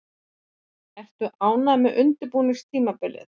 Ertu ánægð með undirbúningstímabilið?